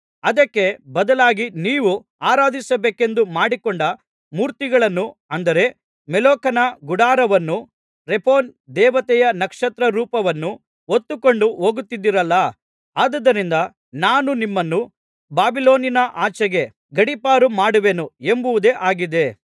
ಅದಕ್ಕೆ ಬದಲಾಗಿ ನೀವು ಆರಾಧಿಸಬೇಕೆಂದು ಮಾಡಿಕೊಂಡ ಮೂರ್ತಿಗಳನ್ನು ಅಂದರೆ ಮೊಲೋಖನ ಗುಡಾರವನ್ನೂ ರೆಫಾನ್ ದೇವತೆಯ ನಕ್ಷತ್ರರೂಪವನ್ನೂ ಹೊತ್ತುಕೊಂಡು ಹೋಗುತ್ತಿದ್ದಿರಲ್ಲಾ ಆದುದರಿಂದ ನಾನು ನಿಮ್ಮನ್ನು ಬಾಬಿಲೋನಿನ ಆಚೆಗೆ ಗಡಿಪಾರು ಮಾಡುವೆನು ಎಂಬುದೇ ಆಗಿದೆ